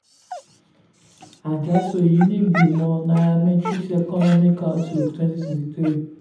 àjá so èyí ní ìgbìmò nairametrics economic outlook twenty twenty three.